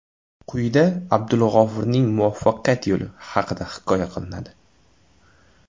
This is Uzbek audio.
Quyida Abdulg‘ofurning muvaffaqiyat yo‘li haqida hikoya qilinadi.